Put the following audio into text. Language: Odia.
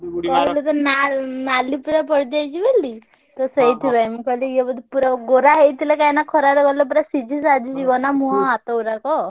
କହିଲୁ ତ ନାଲ~ ନାଲି ପୁରା ପଡିଯାଇଛି ବୋଲି ତ ସେଇଥିପାଇଁ ମୁଁ କହିଲି ଇଏ ବୋଧେ ପୁରା ଗୋରା ହେଇଥିଲେ କାହିଁକିନା ଖରାରେ ଗଲେ ପୁରା ସିଝି ସାଝି ଯିବନା ମୁହଁ ହାତ ଗୁଡାକ।